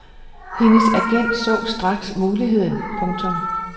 Hendes agent så straks muligheden. punktum